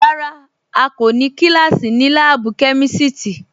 Rárá à kò ní kílásí ní láàbù kẹmísítí